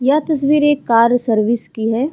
यह तस्वीर एक कार सर्विस की है।